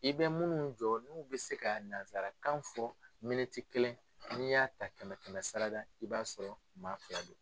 I bɛ munnu jɔ n'u bɛ se ka nansarakan fɔ kelen n'i y'a ta kɛmɛ kɛmɛsarada i b'a sɔrɔ maa fila don.